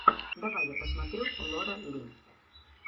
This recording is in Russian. давай я посмотрю лора ли